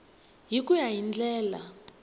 hi ku ya hi ndlela